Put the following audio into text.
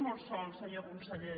molt sol senyor conseller